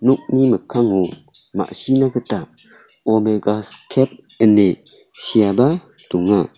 nokni mikkango ma·sina gita omegas kep ine seaba donga.